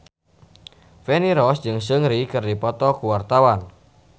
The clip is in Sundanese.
Feni Rose jeung Seungri keur dipoto ku wartawan